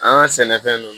An ka sɛnɛfɛnnu